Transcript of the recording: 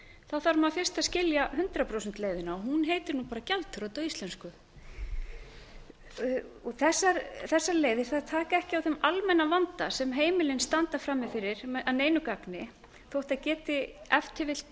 þarf maður fyrst að skilja hundrað prósent leiðina og hún heitir nú bara gjaldþrot á íslensku þessar leiðir taka ekki á þeim almenna vanda sem heimilin standa frammi fyrir að neinu gagni þótt þær geti ef til vill